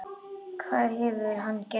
Hvað hefur hann gert?